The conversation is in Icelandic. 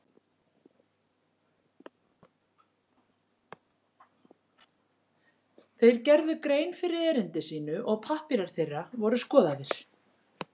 Þeir gerðu grein fyrir erindi sínu og pappírar þeirra voru skoðaðir.